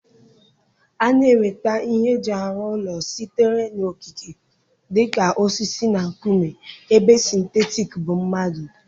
A na-enweta ihe eji arụ ụlọ sitere n'okike dị ka osisi na nkume ebe sịntetik bụ mmadụ.